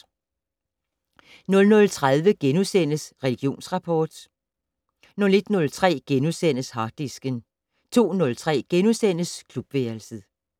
00:30: Religionsrapport * 01:03: Harddisken * 02:03: Klubværelset *